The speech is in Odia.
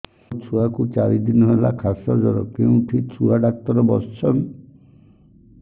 ମୋ ଛୁଆ କୁ ଚାରି ଦିନ ହେଲା ଖାସ ଜର କେଉଁଠି ଛୁଆ ଡାକ୍ତର ଵସ୍ଛନ୍